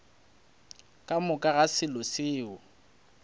ka moka ga se selo